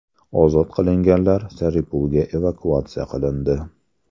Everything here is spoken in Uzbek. Ozod qilinganlar Saripulga evakuatsiya qilindi.